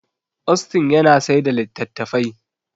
Austin yana saida latattafai